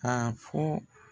Ka fɔ